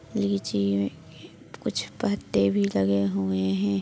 लीजिए कुछ पत्ते भी लगे हुए है।